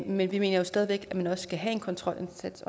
men vi mener jo stadig væk at man også skal have en kontrolindsats